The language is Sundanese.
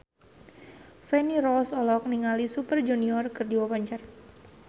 Feni Rose olohok ningali Super Junior keur diwawancara